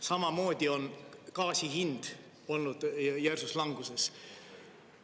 Samamoodi on gaasi hind olnud järsus languses.